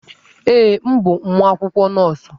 Ee, m bụ nwa akwụkwọ nọọsụ.